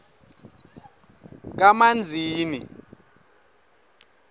kamanzini